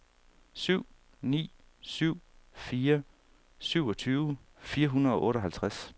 syv ni syv fire syvogtyve fire hundrede og otteoghalvtreds